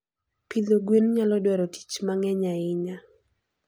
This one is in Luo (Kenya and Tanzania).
Pidho gwen nyalo dwaro tich mang'eny ahinya.